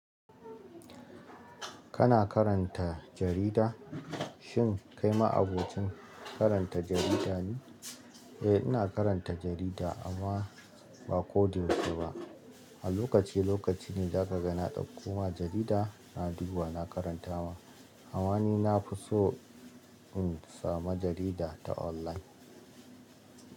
Kana karanta jarida? Shin kai ma abokin karanta jarida ne? Eh, ina karanta jarida amma ba ko da yausheba. A lokaci lokaci ne za ka ga na ɗauko ma jarida na digu wa na karanta ma. Eh, ina karanta jarida amma ba ko da yausheba.